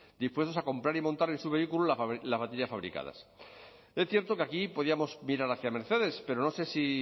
dispuestos a comprar y montar en su vehículo las baterías fabricadas es cierto que aquí podíamos mirar hacia mercedes pero no sé si